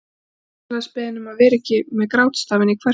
Hann er vinsamlegast beðinn að vera ekki með grátstafinn í kverkunum.